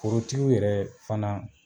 Forotigiw yɛrɛ fana